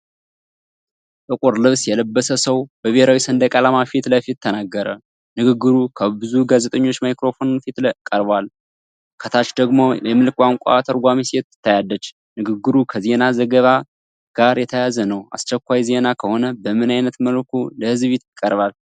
ጥቁር ልብስ የለበሰ ሰው በብሔራዊ ሰንደቅ ዓላማ ፊት ለፊት ተናገረ። ንግግሩ ከብዙ ጋዜጠኞች ማይክሮፎን ፊት ቀርቧል፣ ከታች ደግሞ የምልክት ቋንቋ ተርጓሚ ሴት ትታያለች። ንግግሩ ከዜና ዘገባ ጋር የተያያዘ ነው። አስቸኳይ ዜና ከሆነ በምን አይነት መልኩ ለህዝብ ይቀርባል?